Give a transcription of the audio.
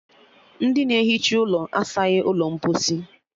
Ndị na-ehicha ụlọ asaghi ụlọ mposi